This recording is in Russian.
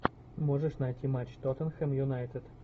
можешь найти матч тоттенхэм юнайтед